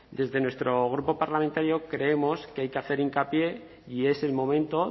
desde nuestro grupo parlamentario creemos que hay que hacer hincapié y es el momento